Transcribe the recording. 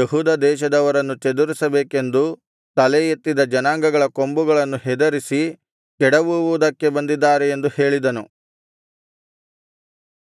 ಯೆಹೂದ ದೇಶದವರನ್ನು ಚದುರಿಸಬೇಕೆಂದು ತಲೆಯೆತ್ತಿದ ಜನಾಂಗಗಳ ಕೊಂಬುಗಳನ್ನು ಹೆದರಿಸಿ ಕೆಡವುವುದಕ್ಕೆ ಬಂದಿದ್ದಾರೆ ಎಂದು ಹೇಳಿದನು